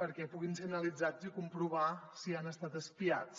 perquè puguin ser analitzats i comprovar si han estat espiats